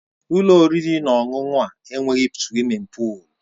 Ụlọ oriri na ọṅụṅụ a enweghị suwimin pụụlu